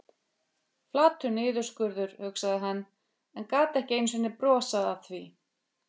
Flatur niðurskurður, hugsaði hann, en gat ekki einu sinni brosað að því.